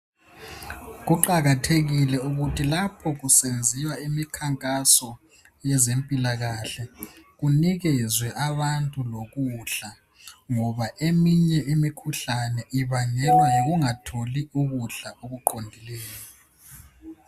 Kuqakathekile ukuthi lapho kusenziwa imikhankaso yezempilakahle kunikezwe abantu lokudla ngoba eminye imikhuhlane ibangelwa yikungatholi ukudla okuqondileyo